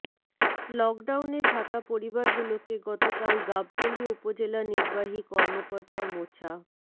লকডাউনে থাকা পরিবারগুলোকে গতকাল গাবতলী উপজেলা নির্বাহী কর্মকর্তা মোছা